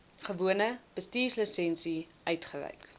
gewone bestuurslisensie uitgereik